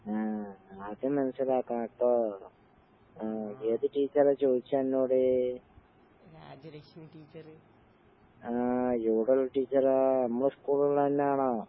ആഹ് അത് മനസ്സിലാക്കണട്ടോ. ആഹ് ഏത് ടീച്ചറാ ചോയ്ച്ചന്നോട്? ആഹ് ഏടോള്ള ടീച്ചറാ? ഇമ്മളെ സ്കൂളിള്ളന്നാണോ?